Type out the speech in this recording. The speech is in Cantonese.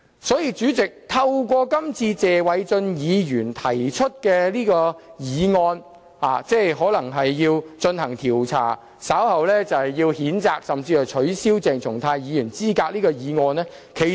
所以，主席，透過這次謝偉俊議員提出的議案，稍後可能會進行調查，予以譴責，甚至取消鄭松泰議員的資格。